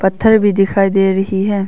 पत्थर भी दिखाई दे रही है।